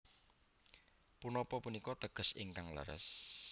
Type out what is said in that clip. Punapa punika teges ingkang leres